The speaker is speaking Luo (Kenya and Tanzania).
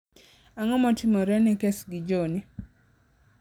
ang'o motimore ne kes gi johnie